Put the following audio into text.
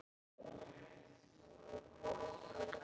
Það eina sem hann sagði þegar hún spurði.